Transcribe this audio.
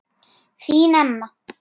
Þín Emma.